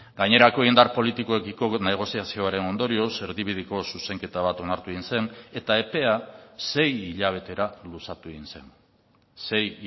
gainerako indar politikoekiko negoziazioaren ondorioz erdibideko zuzenketa bat onartu egin zen eta epea sei hilabetera luzatu egin zen sei